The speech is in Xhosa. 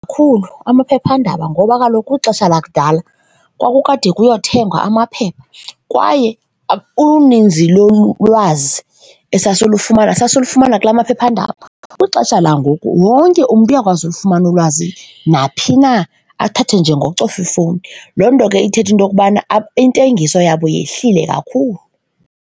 amaphephandaba ngoba kaloku kwixesha lakudala kwakukade kuyothengwa amaphepha kwaye uninzi lolwazi esasilufumana sasilufumana kulaa maphephandaba. Kwixesha langoku wonke umntu uyakwazi ukufumana ulwazi naphi na, athathe nje ngokucofa ifowuni. Loo nto ke ithetha into yokubana intengiso yabo yehlile kakhulu.